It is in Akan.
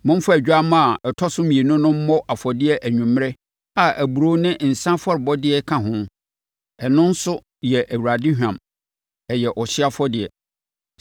Momfa odwammaa a ɔtɔ so mmienu no mmɔ afɔdeɛ anwummerɛ a aburoo ne nsã afɔrebɔdeɛ ka ho. Ɛno nso yɛ Awurade hwam. Ɛyɛ ɔhyeɛ afɔrebɔ.